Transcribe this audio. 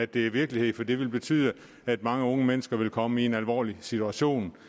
det er virkelighed for det vil betyde at mange unge mennesker vil komme i en alvorlig situation